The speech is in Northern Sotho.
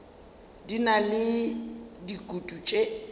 di na le dikutu tše